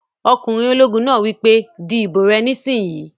Ọkùnrin ológun náà wí pé "di ìbò rẹ nísìínyi!"